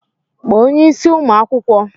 Kpọọ onye isí ụmụ akwụkwọ!